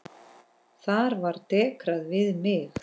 Þar var dekrað við mig.